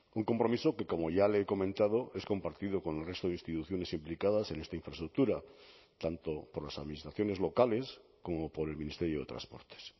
un compromiso que como ya le he comentado es compartido con el resto de instituciones implicadas en esta infraestructura tanto por las administraciones locales como por el ministerio de transportes